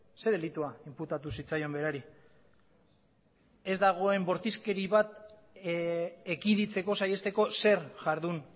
ze delitua inputatu zitzaion berari ez dagoen bortizkeri bat ekiditeko saihesteko zer jardun